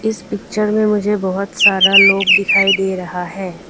इस पिक्चर में मुझे बहुत सारा लोग दिखाई दे रहा है।